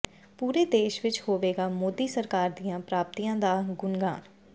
ਪੂਰੇ ਦੇਸ਼ ਵਿੱਚ ਹੋਵੇਗਾ ਮੋਦੀ ਸਰਕਾਰ ਦੀਆਂ ਪ੍ਰਾਪਤੀਆਂ ਦਾ ਗੁਣਗਾਨ